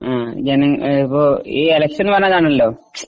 ഈ ഇലക്ഷന്